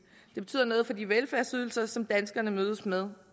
det betyder noget for de velfærdsydelser som danskerne mødes med